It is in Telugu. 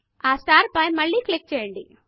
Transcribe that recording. ఆ స్టార్ పైన మళ్ళి క్లిక్ చేయండి